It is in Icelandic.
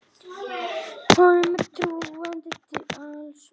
Honum er trúandi til alls.